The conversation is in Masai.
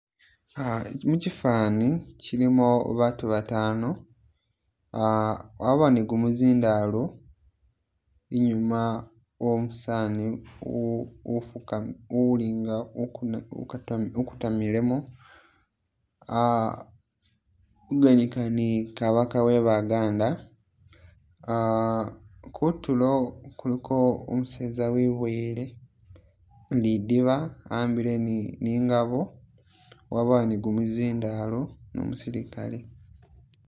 Muchifani kyilimo baatu batano wabawo ni gumuzindalo inyuma womusani uli nga ukutamilemo ali kuganika ni kabaka we Baganda kutulo kuliko umuseza wiboyile lidiba ahambile ni ingaboo wabawo ni gumuzindalo ni umusilikale